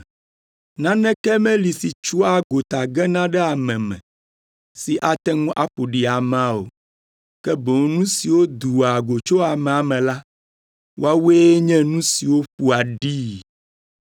Naneke meli si tsoa gota gena ɖe ame me, si ate ŋu aƒo ɖi amea o, ke boŋ nu siwo doa go tso amea me la, woawoe nye nu siwo ƒoa ɖii.